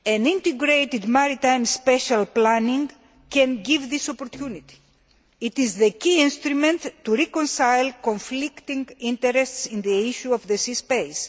Integrated maritime special planning can give us this opportunity. It is the key instrument in reconciling conflicting interests in the issue of this space.